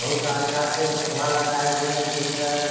बहुत अच्छा से शोभा लगाए हुए हैं देख रहें हैं।